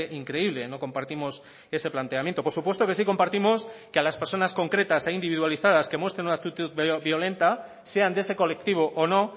increíble no compartimos ese planteamiento por supuesto que sí compartimos que a las personas concretas e individualizadas que muestren una actitud violenta sean de ese colectivo o no